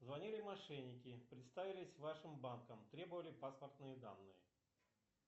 звонили мошенники представились вашим банком требовали паспортные данные